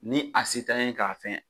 Ni a se t'an ye k'a fɛn